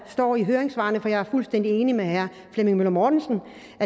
står i høringssvarene og jeg er fuldstændig enig med herre flemming møller mortensen